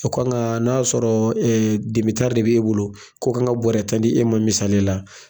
u kan ka n'a y'a sɔrɔ de b'e bolo ko kan ka bɔrɛ tan di e ma misaliya la.